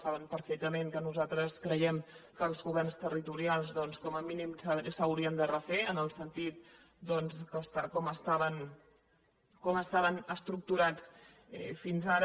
saben perfectament que nosaltres creiem que els governs territorials doncs com a mínim s’haurien de refer en el sentit de com estaven estructurats fins ara